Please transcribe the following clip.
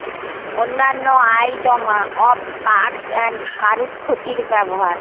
অন্যান্য আয় জমা অফ আর্টস এবং কারুক্ট ক্ষতির ব্যবহার